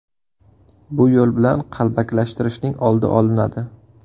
Bu yo‘l bilan qalbakilashtirishning oldi olinadi.